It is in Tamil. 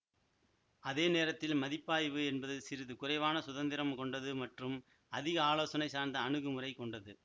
அதே நேரத்தில் மதிப்பாய்வு என்பது சிறிது குறைவான சுதந்திரம் கொண்டது மற்றும் அதிக ஆலோசனை சார்ந்த அணுகுமுறை கொண்டது